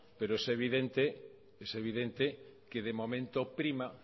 pero es evidente que de momento prima